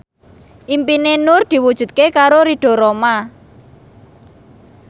impine Nur diwujudke karo Ridho Roma